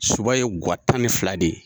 Soba ye guwa tan ni fila de ye